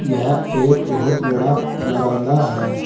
यह एक बहुत बड़ा बारांदा है।